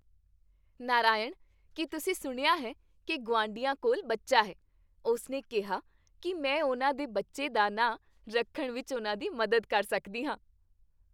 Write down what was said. ਨਾਰਾਇਣ, ਕੀ ਤੁਸੀਂ ਸੁਣਿਆ ਹੈ ਕੀ ਗੁਆਂਢੀਆਂ ਕੋਲ ਬੱਚਾ ਹੈ? ਉਸਨੇ ਕਿਹਾ ਕੀ ਮੈਂ ਉਹਨਾਂ ਦੇ ਬੱਚੇ ਦਾ ਨਾਮ ਰੱਖਣ ਵਿੱਚ ਉਹਨਾਂ ਦੀ ਮਦਦ ਕਰ ਸਕਦੀ ਹਾਂ।